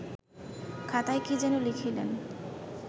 খাতায় কি যেন লিখিলেন